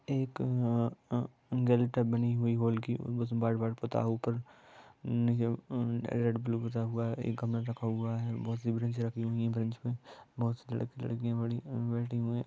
एक गलता बनी हुई होल की बस बार-बार पता ऊपर रखा हुआ है बहुत सी ब्रांच रखी हुई है ब्रांच में बहुत लड़की लड़कियां बैठे हुए हैं|